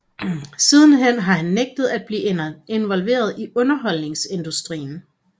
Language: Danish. Sidenhen har han nægtet at blive involveret i underholdningsindustrien